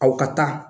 Aw ka taa